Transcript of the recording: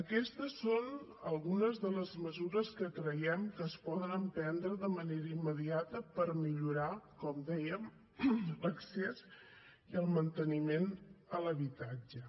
aquestes són algunes de les mesures que creiem que es poden emprendre de manera immediata per millorar com dèiem l’accés i el manteniment a l’habitatge